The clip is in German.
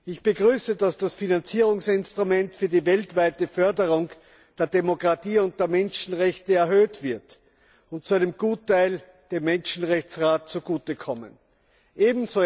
Ich begrüße, dass das Finanzierungsinstrument für die weltweite Förderung der Demokratie und der Menschenrechte erhöht wird und zu einem Gutteil dem Menschenrechtsrat zugute kommen wird.